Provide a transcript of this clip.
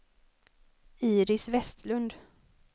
Iris Westlund